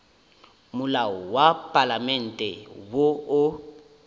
molao wa palamente wo o